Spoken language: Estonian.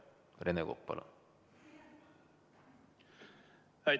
Rene Kokk, palun!